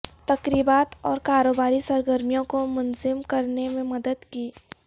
تقریبات اور کاروباری سرگرمیوں کو منظم کرنے میں مدد کی